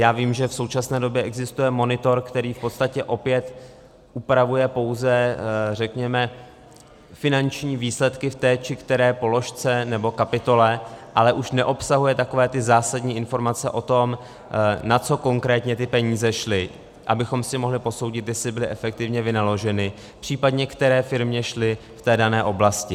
Já vím, že v současné době existuje monitor, který v podstatě opět upravuje pouze, řekněme, finanční výsledky v té či které položce nebo kapitole, ale už neobsahuje takové ty zásadní informace o tom, na co konkrétně ty peníze šly, abychom si mohli posoudit, jestli byly efektivně vynaloženy, případně které firmě šly v té dané oblasti.